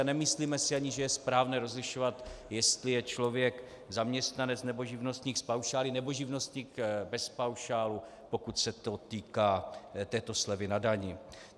A nemyslíme si ani, že je správné rozlišovat, jestli je člověk zaměstnanec, nebo živnostník s paušály, nebo živnostník bez paušálu, pokud se to týká této slevy na dani.